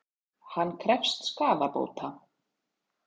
Hann krefst skaðabóta